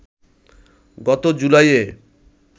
গত জুলাইয়ে